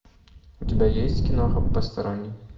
у тебя есть киноха посторонний